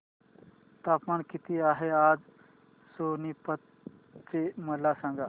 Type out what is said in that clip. तापमान किती आहे आज सोनीपत चे मला सांगा